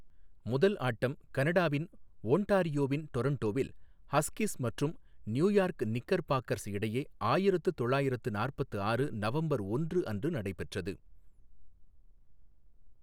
முதல் ஆட்டம் கனடாவின் ஒன்டாரியோவின் டொரன்டோவில் ஹஸ்கிஸ் மற்றும் நியூயார்க் நிக்கர் பாக்கர்ஸ் இடையே ஆயிரத்து தொள்ளாயிரத்து நாற்பத்து ஆறு நவம்பர் ஒன்று அன்று நடைபெற்றது.